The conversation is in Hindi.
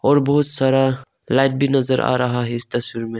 और बहुत सारा लाइट भी नजर आ रहा है इस तस्वीर में हमे।